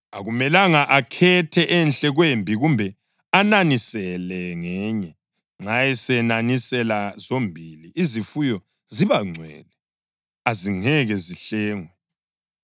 Akumelanga akhethe enhle kwembi kumbe ananisele ngenye. Nxa esenanisela zombili, izifuyo ziba ngcwele; azingeke zihlengwe.’ ”